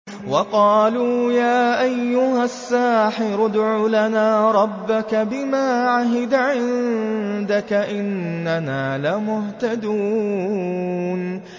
وَقَالُوا يَا أَيُّهَ السَّاحِرُ ادْعُ لَنَا رَبَّكَ بِمَا عَهِدَ عِندَكَ إِنَّنَا لَمُهْتَدُونَ